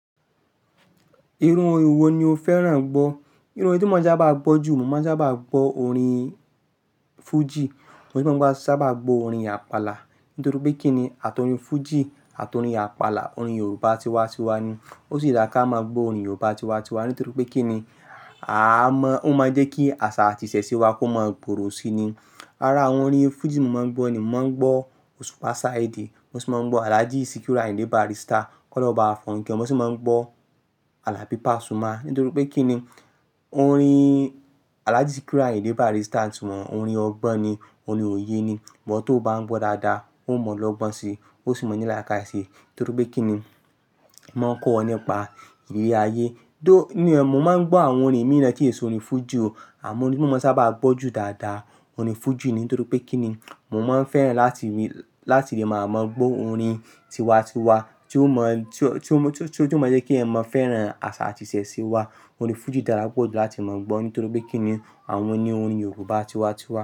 Irun orin wo ni o fẹ́ràn gbọ́? Irun orin tí mo máa sábà gbọ́ jù, mo máa sábà gbọ́ orin Fuji. Mo sì máa ń gbọ́ sábà gbọ́ orin Àpàlà. Nítorí pé kín ní àti orin Fuji àti orin Àpàlà, orin Yorùbá tiwa-tiwa ni. Ó sì dára ká máa gbọ́ orin Yorùbá tiwa-tiwa. Nítorí pé kín ní, a mọ, ó máa ń jẹ́ kí àṣà àti ìṣẹ̀ṣe wa kó máa gbòòrò síi ni. Lára àwọn orin Fuji mo máa ń gbọ́ ni, mo máa ń gbọ́ Òṣùpá Sáìdì, mo sì máa ń gbọ́ Alhaji Sikiru Àyìndé Bàrístà, Kọ́loun bàwa forun kẹ́won, mo sì máa ń gbọ́ Àlàbí Pasuma. Nítorí pé kín ní, orin Alhaji Sikiru Àyìndé Bàrístà ntiwọ̀n orin ọgbọ́n ni, orin òye ni. Ìwo tó bá ń gbọ́ dáadáa, ó mọ̀ ọ́n lọ́gbọ́n si. Ó sì mọ ní lákáye sii. Nítorí pé kín ní, máa ń kọ́ ọ nípa ìrí ayé. Bí i ní, mo máa ń gbọ́ àwọn orin mìíràn tí yíò sì orin Fuji o. Àmọ́ orin tí mo máa ń sábà gbọ́ jù dáadáa, orin Fuji ni. Nítorí pé kín ní, mo máa ń fẹ́ràn láti rí, láti lè máa mọ̀ gbọ́ orin tiwa-tiwa tí ó mọ, tí ó, tí ó jù mọ́ jẹ́ kí ẹ̀mọ́ fẹ́ràn àṣà àti ìṣẹ̀ṣe wa. Orin Fuji dára pọ̀ jù láti máa ń gbọ́, nítorí pé kín ní àwọn ni orin Yorùbá tiwa-tiwa.